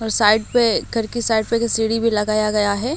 और साइड पे घर के साइड पे एक सिडी भी लगया गया है।